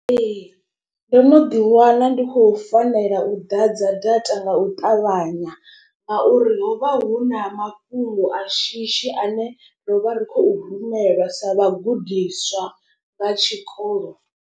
Ee ndo no ḓi wana ndi khou fanela u ḓadza data nga u ṱavhanya. Ngauri ho vha hu na mafhungo a shishi ane ro vha ri khou rumela sa vhagudiswa vha tshikolo.